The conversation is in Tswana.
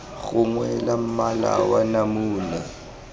gongwe la mmala wa namune